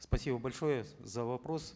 спасибо большое за вопрос